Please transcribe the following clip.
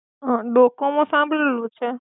હ, ડોકોમો સાંભળેલું છે.